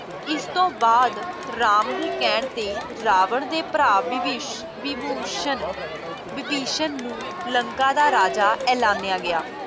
ਇਸਤੋਂ ਬਾਅਦ ਰਾਮ ਦੇ ਕਹਿਣ ਤੇ ਰਾਵਣ ਦੇ ਭਰਾ ਵਿਭਿਸ਼ ਵਿਭੂਸ਼ਣ ਵਿਭੀਸ਼ਣ ਨੂੰ ਲੰਕਾ ਦਾ ਰਾਜਾ ਐਲਾਨਿਆ ਗਿਆ।